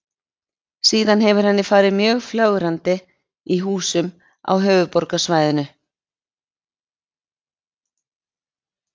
Síðan hefur henni farið mjög fjölgandi í húsum á höfuðborgarsvæðinu.